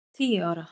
Hún var tíu ára.